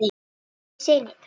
Ég segi nei, takk.